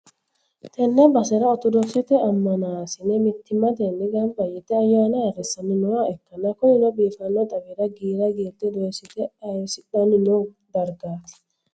tenne basera oritodokisete ammanasi'ne mittimmatenni gamba yite ayyaana ayyrsanni nooha ikkanna, kunino biifanno xawira giira giirte doyyiste ayyirisidhanni no dargaati.